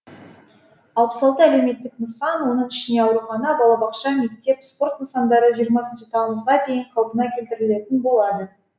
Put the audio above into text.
алпыс алты әлеуметтік нысан оның ішінде аурухана балабақша мектеп спорт нысандары жиырмасыншы тамызға дейін қалпына келтірілетін болады